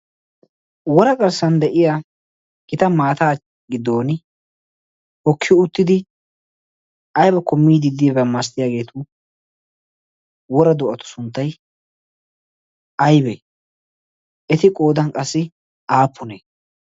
wora garssan de7iya gita maataa giddon hokki uttidi aibkko miiddi diaba maasttiyaageetu wora do7atu sunttai aibee? eti qoodan qassi aappunee?